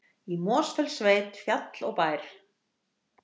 Í Mosfellssveit, fjall og bær.